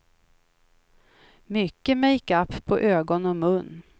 Mycket makeup på ögon och mun.